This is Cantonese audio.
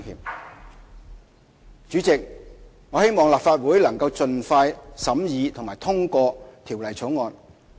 代理主席，我希望立法會能盡快審議及通過《條例草案》。